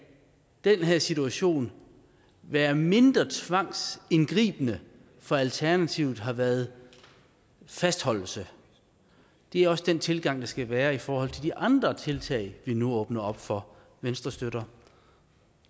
den her situation være mindre tvangsindgribende for alternativet havde været fastholdelse det er også den tilgang der skal være i forhold til de andre tiltag vi nu åbner op for venstre støtter